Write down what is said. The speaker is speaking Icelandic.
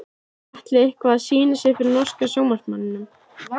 Atli eitthvað að sýna sig fyrir norska sjónvarpsmanninum?